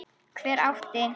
Hver átti?